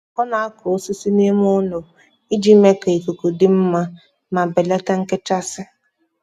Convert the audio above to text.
ọ na-akọ osisi n’ime ụlọ iji mee ka ikuku dị mma ma belata nchekasị.